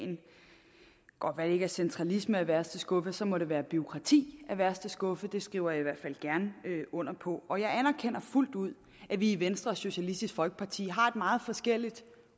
godt være ikke er centralisme af værste skuffe men så må det være bureaukrati af værste skuffe det skriver jeg i hvert fald gerne under på og jeg anerkender fuldt ud at vi i venstre og socialistisk folkeparti har et meget forskelligt